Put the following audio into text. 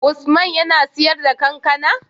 Usman yAna siyar da kankAna?